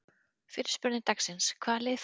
Fyrri spurning dagsins: Hvaða lið falla?